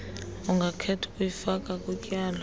ungakhetha ukuyifaka kutyalo